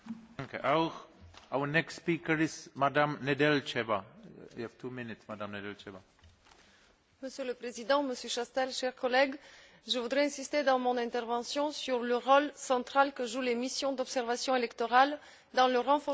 Monsieur le Président, Monsieur Chastel, chers collègues, je voudrais insister dans mon intervention sur le rôle central que jouent les missions d'observation électorale dans le renforcement, à la fois, de nos relations avec l'OSCE, mais aussi, plus globalement, dans le renforcement de notre action extérieure.